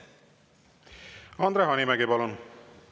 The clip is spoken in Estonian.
Andre Hanimägi, palun!